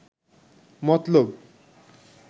মতলব